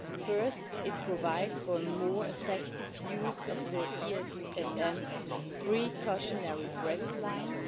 First, it provides for more effective use of the ESM's precautionary credit lines.